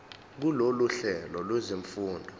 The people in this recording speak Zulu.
kulolu hlelo lwezifundo